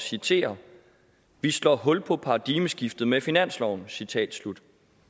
citere vi slår hul på paradigmeskiftet med finansloven citat slut